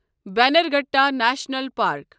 Bannerghatta national park